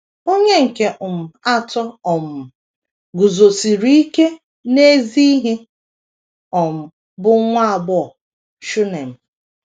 Onye nke um atọ um guzosiri ike n’ezi ihe um bụ nwa agbọghọ Shunem.